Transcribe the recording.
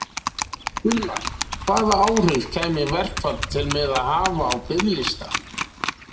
Gunnar: Hvaða áhrif kæmi verkfall til með að hafa á biðlista?